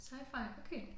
Scifi okay